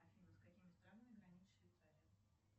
афина с какими странами граничит швейцария